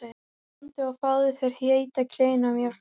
Komdu og fáðu þér heita kleinu og mjólk.